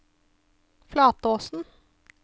Flatåsen